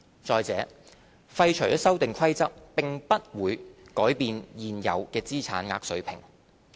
再者，廢除《修訂規則》並不會改變現有的資產額水平。